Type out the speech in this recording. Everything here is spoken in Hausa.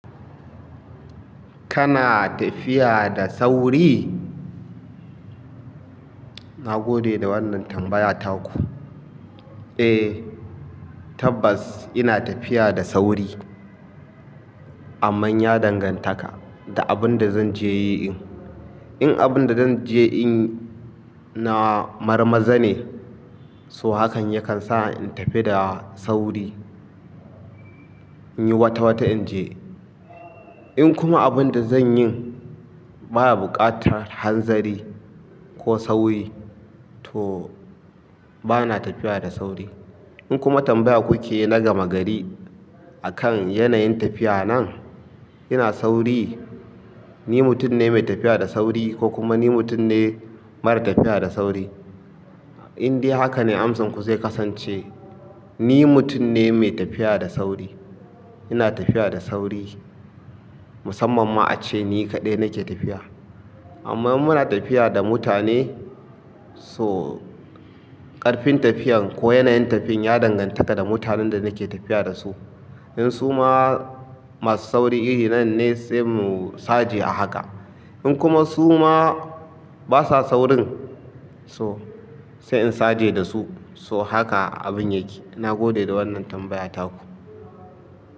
Kana tafiya da sauri? Na gode da wannan tambayata ku. Eh, tabbas ina tafiya da sauri. Amman ya dangantaka da abin da zan je yi in. In abin da zan je yin na marmarza ne, so hakan yakan sa in tafi da sauri, in yi wata wata in je. In kuma abin da zan yin baya buƙatar hanzari ko sauri, to bana tafiya da sauri. In kuma tambaya kuke na gama gari a kan yanayin tafiya nan, ina sauri, ni mutum ne mai tafiya da sauri ko kuma ni mutum ne mara tafiya da sauri. In dai haka ne amsanku zai kasance. Ni mutum ne mai tafiya da sauri. Ina tafiya da sauri. Musamman ma ace ni kaɗai nake tafiya. Amma in muna tafiya da mutane, so ƙarfin tafiyan ko yanayin tafi ya dangantaka da mutanen da nake tafiya da su. In su ma masu sauri iri nan ne sai mu saje a haka. In kuma su ma basa saurin so, sai in saje da su. So haka abin yake. Na gode da wannan tambayata ku.